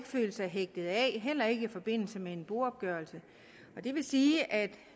føle sig hægtet af heller ikke i forbindelse med en boopgørelse så det vil sige at